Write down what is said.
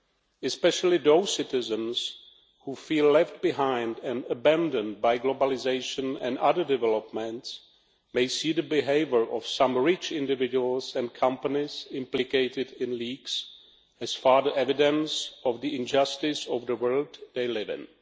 In particular, those citizens who feel left behind and abandoned by globalisation and other developments may see the behaviour of some rich individuals and companies implicated in leaks as further evidence of the injustice of the world they live in.